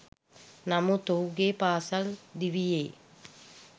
නමුත් ඔහුගේ පාසල් දිවියේ